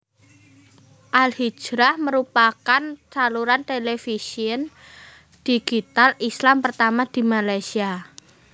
AlHijrah merupakan saluran televisyen digital Islam pertama di Malaysia